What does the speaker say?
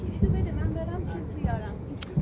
Açarı ver, mən gedim nəsə gətirim.